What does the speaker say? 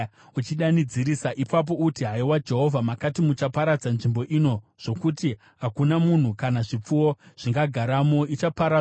Ipapo uti, ‘Haiwa Jehovha, makati muchaparadza nzvimbo ino, zvokuti hakuna munhu kana zvipfuwo zvingagaramo; ichaparadzwa nokusingaperi.’